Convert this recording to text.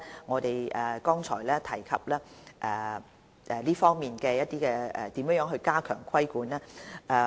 我們剛才也有提及如何加強這方面的規管。